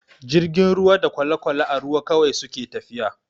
Jirgin ruwa da kwale-kwale a ruwa kawai suke tafiya.